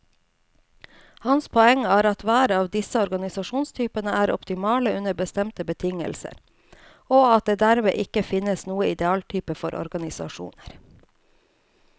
Hans poeng er at hver av disse organisasjonstypene er optimale under bestemte betingelser, og at det dermed ikke finnes noen idealtype for organisasjoner.